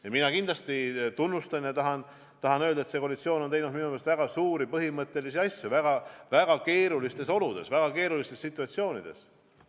Ja mina kindlasti tunnustan seda ja tahan öelda, et see koalitsioon on teinud minu meelest väga suuri põhimõttelisi asju väga keerulistes oludes, väga keerulistes situatsioonides.